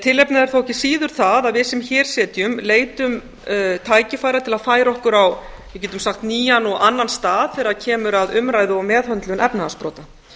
tilefnið er þó ekki síður það að við sem hér sitjum leitum tækifæra til að færa okkur á við getum sagt nýjan og annan stað þegar kemur að umræðu og meðhöndlun efnahagsbrota